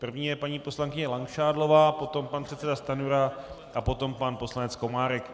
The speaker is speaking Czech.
První je paní poslankyně Langšádlová, potom pan předseda Stanjura a potom pan poslanec Komárek.